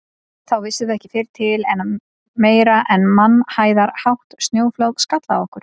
Þá vissum við ekki fyrr til en meira en mannhæðarhátt snjóflóð skall á okkur.